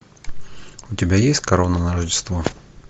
у тебя есть корона на рождество